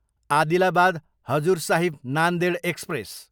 Adilabad, Hazur Sahib Nanded express